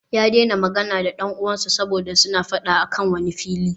Ya daina magana da dan uwansa saboda suna fada a kan wani fili